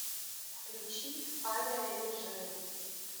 включи авиарежим